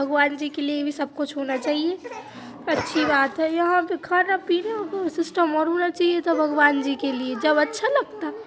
भगवान जी के लिए भी सब कुछ होना चाहिए| अच्छी बात है यहाँ पे खाना पीना को सिस्टम और होना चाहिए था भगवान जी के लिए जब अच्छा लगता।